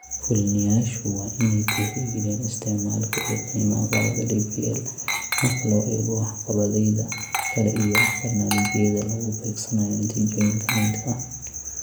Fulinayaashu waa inay tixgeliyaan isticmaalka iyo qiimaha qalabka DPL marka loo eego waxqabadyada kale iyo barnaamijyada lagu beegsanayo natiijooyinka la midka ah.